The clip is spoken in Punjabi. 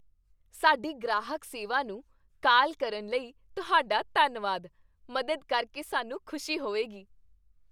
ਸਾਡੀ ਗ੍ਰਾਹਕ ਸੇਵਾ ਨੂੰ ਕਾਲ ਕਰਨ ਲਈ ਤੁਹਾਡਾ ਧੰਨਵਾਦ। ਮਦਦ ਕਰਕੇ ਸਾਨੂੰ ਖੁਸ਼ੀ ਹੋਵੇਗੀ ।